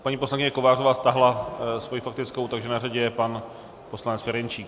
Paní poslankyně Kovářová stáhla svoji faktickou, takže na řadě je pan poslanec Ferjenčík.